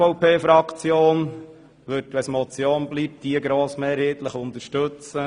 Die SVP-Fraktion wird eine Motion grossmehrheitlich unterstützen.